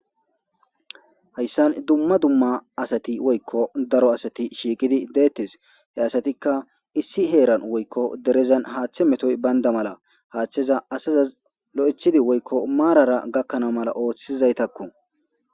Haysan dumma dumma woyko daro asat shiiqid detes. He asatika Iss heran woyko derezan hathe metoy Banda mala hatheza azas lo'ethid woyko marara gakana mala othizaytako